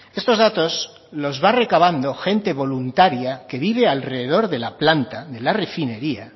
estos datos los va recabando gente voluntaria que vive alrededor de la planta de la refinería